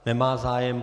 Nemá zájem.